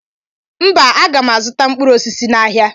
mba aga m azụta mkpụrụ osisi n'ahịa